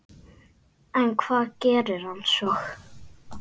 En hvað gerir hann svo?